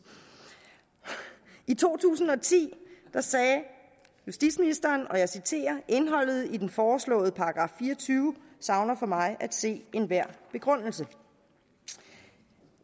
i to tusind og ti sagde justitsministeren og jeg citerer indholdet i den foreslåede § fire og tyve savner for mig at se enhver begrundelse